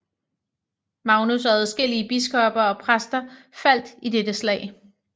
Magnus og adskillige biskopper og præster faldt i dette slag